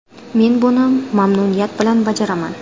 Men buni mamnuniyat bilan bajaraman.